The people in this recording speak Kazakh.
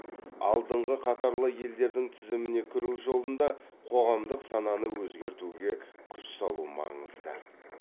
алдыңғы қатарлы елдердің тізіміне кіру жолында қоғамдық сананы өзгертуге күш салу маңызды